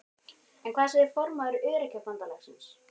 En hvað segir formaður Öryrkjabandalagsins?